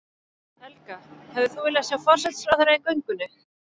Helga: Hefðir þú viljað sjá forsætisráðherra í göngunni?